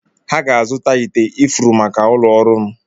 Ha ga-azụta ite ifuru maka ụlọ ọrụ m.